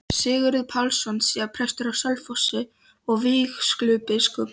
Sigurður Pálsson, síðar prestur á Selfossi og vígslubiskup.